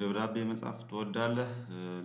ደብዳቤ መጻፍ ትወዳለህ?